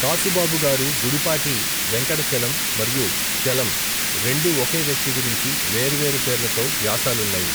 కాసుబాబు గారు గుడిపాటి వెంకట చలం మరియు చలం రెండూ ఒకే వ్యక్తి గురించి వేర్వేరు పేర్లతో వ్యాసాలున్నాయి.